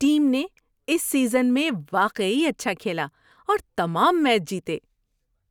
Team نے اس season میں واقعی اچھا کھیلا اور تمام میچ جیتے۔